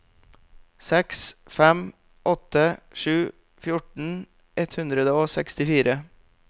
seks fem åtte sju fjorten ett hundre og sekstifire